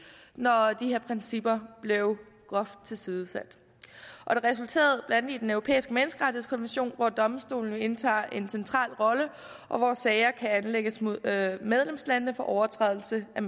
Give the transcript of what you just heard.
når de her principper blev groft tilsidesat det resulterede blandt andet i den europæiske menneskerettighedskommission hvor domstolen jo indtager en central rolle og hvor sager kan anlægges mod medlemslandene for overtrædelse af